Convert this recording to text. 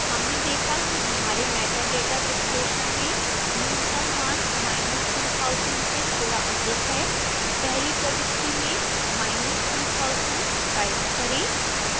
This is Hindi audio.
हमने देखा कि हमारे metadata विश्लेषण में न्यूनतम मान 2000 से थोड़ा अधिक है पहली प्रविष्टि में 2000 टाइप करें